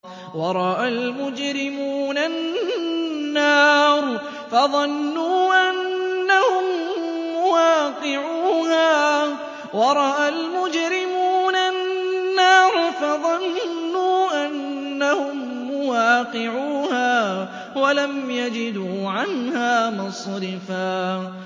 وَرَأَى الْمُجْرِمُونَ النَّارَ فَظَنُّوا أَنَّهُم مُّوَاقِعُوهَا وَلَمْ يَجِدُوا عَنْهَا مَصْرِفًا